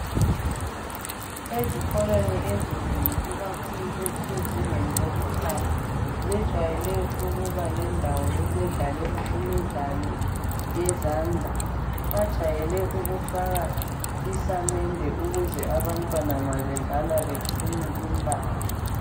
Ezikolweni ezinengi ikakhulu ezisezingeni lobukhali zejwajayele ukubalendawo yokudlalalela imidlalo yezandla. Bajayele ukufaka isamende ukuze abantwana nxa bedlala beqine imbala.